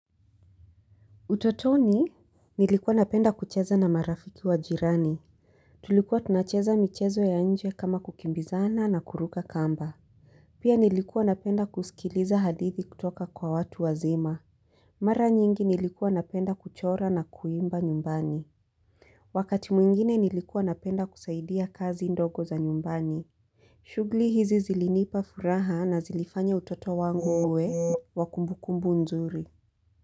Utotoni? Nilikuwa napenda kucheza na marafiki wa jirani. Tulikuwa tunacheza michezo ya nje kama kukimbizana na kuruka kamba. Pia nilikuwa napenda kusikiliza hadithi kutoka kwa watu wazima. Mara nyingi nilikuwa napenda kuchora na kuimba nyumbani. Wakati mwingine nilikuwa napenda kusaidia kazi ndogo za nyumbani. Shuguli hizi zilinipa furaha na zilifanya utoto wangu uwe wa kumbukumbu nzuri.